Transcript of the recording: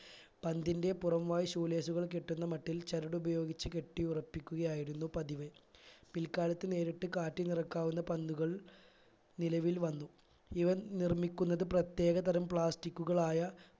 പന്തിന്റെ പുറം വായ് shoe lace കൾ കെട്ടുന്ന മട്ടിൽ ചരടുപയോഗിച്ച് കെട്ടി ഉറപ്പിക്കുകയായിരുന്നു പതിവ് പിൽക്കാലത്ത് നേരിട്ട് കാറ്റ് നിറക്കാവുന്ന പന്തുകൾ നിലവായിൽ വന്നു ഇവ നിർമിക്കുന്നത് പ്രത്യേക തരം plastic കളായ